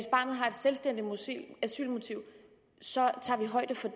har et selvstændigt asylmotiv tager vi højde for